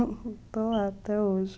Estou lá até hoje.